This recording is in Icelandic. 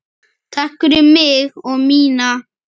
Takk fyrir mig og mína.